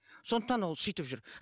сондықтан ол сөйтіп жүр